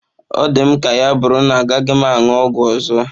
Ọ dị m ka ya bụrụ na agaghị m aṅụ ọgwụ ọzọ.